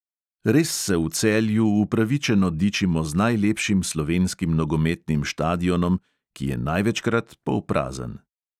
Res se v celju upravičeno dičimo z najlepšim slovenskim nogometnim štadionom, ki je največkrat polprazen.